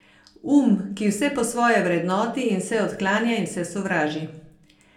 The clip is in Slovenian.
Um, ki vse po svoje vrednoti in vse odklanja in vse sovraži.